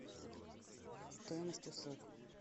стоимость услуг